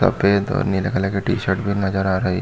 सफ़ेद और नीले कलर की टी-शर्ट भी नज़र आ रही हैं।